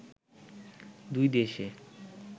দুই দেশে